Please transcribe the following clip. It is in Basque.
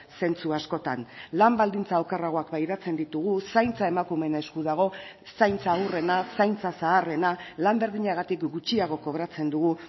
zentzu askotan lan baldintza okerragoak pairatzen ditugu zaintza emakumeen esku dago zaintza haurrena zaintza zaharrena lan berdinagatik gutxiago kobratzen dugu